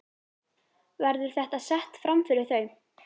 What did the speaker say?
Verður þetta sett framfyrir þau?